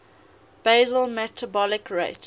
basal metabolic rate